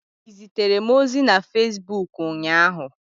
Ị zitere m ozi na Fesbuk ụnyaahụ?